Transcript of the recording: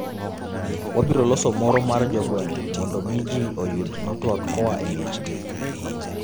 Wabiro loso moro mar jogweng' mondo mi ji oyud network koa emiechgi.